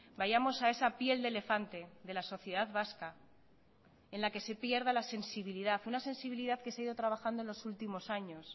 vayamos a esa piel de elefante de la sociedad vasca en la que se pierda la sensibilidad una sensibilidad que se ha ido trabajando en los últimos años